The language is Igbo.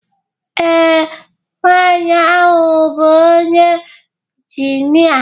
Ee, nwanyị ahụ bụ onye injinia